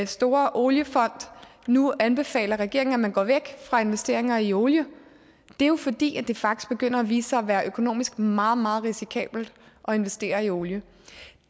store oliefond nu anbefaler regeringen at gå væk fra investeringer i olie det er jo fordi det faktisk begynder at vise sig at være økonomisk meget meget risikabelt at investere i olie